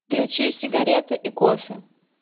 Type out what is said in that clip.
включи сигареты и кофе